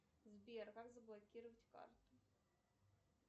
сбер как заблокировать карту